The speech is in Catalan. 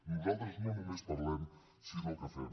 nosaltres no només parlem sinó que fem